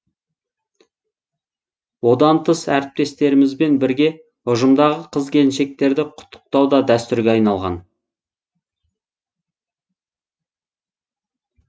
одан тыс әріптестерімізбен бірге ұжымдағы қыз келіншектерді құттықтау да дәстүрге айналған